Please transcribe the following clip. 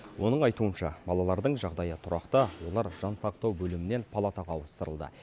оның айтуынша балалардың жағдайы тұрақты олар жансақтау бөлімінен палатаға ауыстырылды